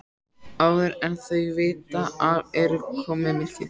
Áður en þau vita af er komið myrkur.